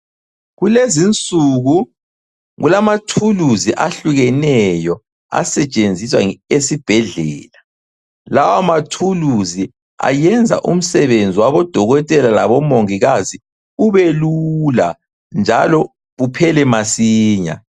Kulezinsuku kulamathuluzi ahlukeneyo asetshenziswa esibhedlela. Lawa mathuluzi ayenza umsebenzi wabodokotela labomongikazi ubelula njalo uphele masinya.